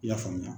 I y'a faamuya